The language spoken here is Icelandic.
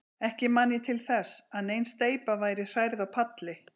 Ekki man ég til þess, að nein steypa væri hrærð á palli.